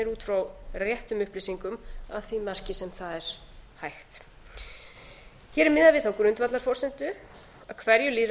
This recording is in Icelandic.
út frá réttum upplýsingum að því marki sem það er hægt hér er miðað við þá grundvallarforsendu